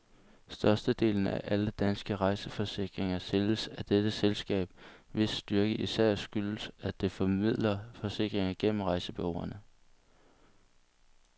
Størstedelen af alle danske rejseforsikringer sælges af dette selskab, hvis styrke især skyldes, at det formidler forsikringer gennem rejsebureauerne.